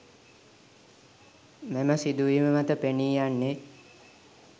මෙම සිදුවීම් මත පෙනී යන්නේ